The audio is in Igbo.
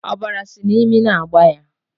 Ọbara sị n'imi na-agba ya